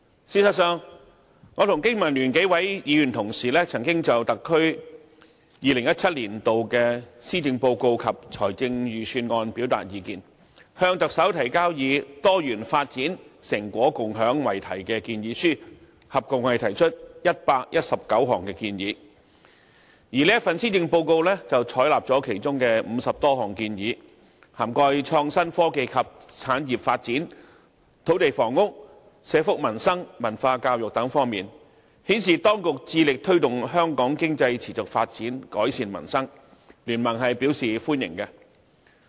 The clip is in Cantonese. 事實上，我和經民聯幾位議員同事曾經就特區2017年度的施政報告及財政預算案表達意見，向特首提交以"多元發展、成果共享"為題的建議書，合共提出119項建議，而這份施政報告採納了其中50多項建議，涵蓋創新科技及產業發展、土地房屋、社福民生、文化教育等方面的建議，顯示當局致力推動香港經濟持續發展，改善民生，經民聯是表示歡迎的。